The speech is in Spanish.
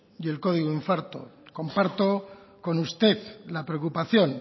y el código infarto comparto con usted la preocupación